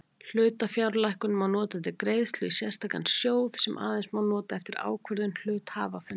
Hlutafjárlækkun má nota til greiðslu í sérstakan sjóð sem aðeins má nota eftir ákvörðun hluthafafundar.